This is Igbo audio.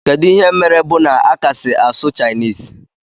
Kedu ihe mere bu na akasi asụ chinese?